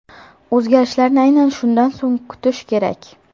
O‘zgarishlarni aynan shundan so‘ng kutish kerak.